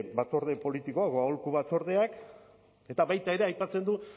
batzorde politikoa o aholku batzordeak eta baita ere aipatzen du